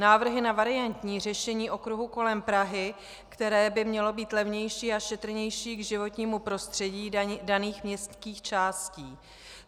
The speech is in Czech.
Návrhy na variantní řešení okruhu kolem Prahy, které by mělo být levnější a šetrnější k životnímu prostředí daných městských částí.